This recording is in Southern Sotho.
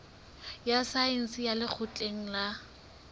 ya saense ya lekgotleng la